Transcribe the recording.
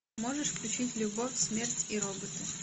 можешь включить любовь смерть и роботы